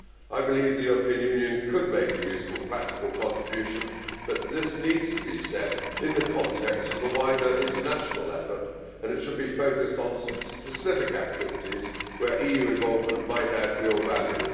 I believe the European Union could make a useful, practical contribution, but this needs to be set in the context of the wider, international effort and it should be focused on some specific activities where EU involvement might add real value.